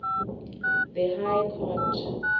the high court